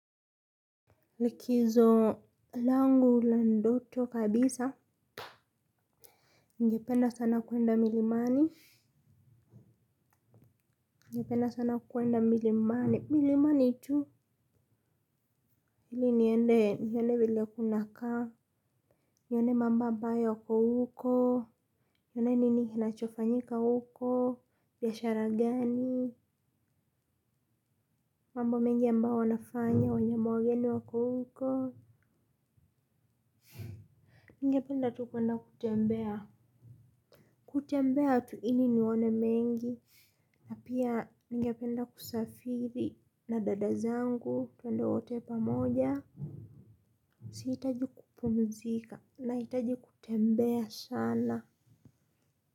Likizo langu la ndoto kabisa ningependa sana kuenda milimani ningependa sana kuenda milimani milimani tu ili niende nione vile kunakaa nione mambo ambayo yako huko nione nini kinachofanyika huko biashara gani mambo mengi ambao wanafanya wanyama wageni wako huko ningependa tu kuenda kutembea kutembea tu ili nione mengi. Na pia ningependa kusafiri na dada zangu tuende wote pamoja. Sihitaji kupumzika nahitaji kutembea sana.